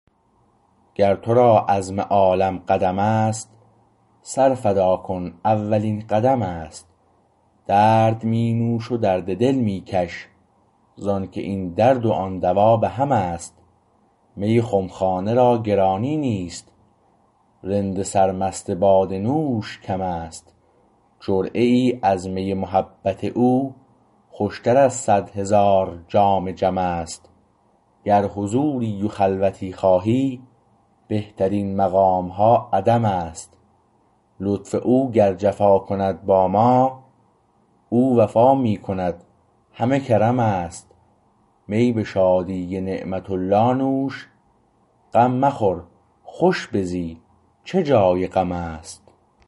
گر تو را عزم عالم قدم است سر فدا کردن اولین قدم است درد می نوش و درد دل میکش زانکه این درد و آن دوا به همست می خمخانه را گرانی نیست رند سرمست باده نوش کم است جرعه ای از می محبت او خوشتر از صد هزار جام جمست گر حضوری و خلوتی خواهی بهترین مقامها عدم است لطف او گر جفا کند با ما او وفا می کند همه کرم است می به شادی نعمت الله نوش غم مخور خوش بزی چه جای غم است